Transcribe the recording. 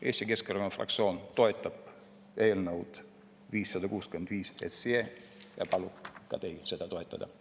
Eesti Keskerakonna fraktsioon toetab eelnõu 565 ja palub ka teil seda toetada.